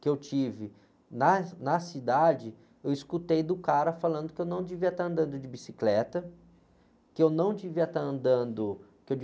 que eu tive na, na cidade, eu escutei do cara falando que eu não devia estar andando de bicicleta, que eu não devia estar andando, que eu